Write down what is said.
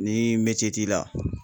Ni t'i la